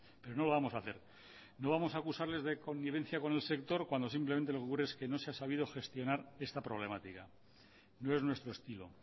pero no lo vamos hacer no vamos a acusarles de connivencia con el sector cuando simplemente lo que ocurre es que no se ha sabido gestionar esta problemática no es nuestro estilo